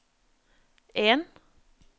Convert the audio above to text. en